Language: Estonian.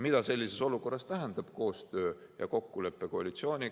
Mida sellises olukorras tähendab koostöö ja kokkulepe koalitsiooniga?